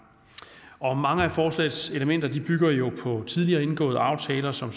mange af forslagets elementer bygger jo på tidligere indgåede aftaler som